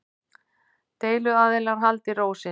Deiluaðilar haldi ró sinni